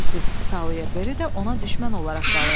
Missis Sayerberi də ona düşmən olaraq qalırdı.